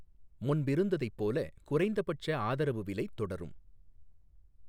முன்பிருந்ததைப் போல குறைந்தபட்ச ஆதரவுவிலை தொடரும்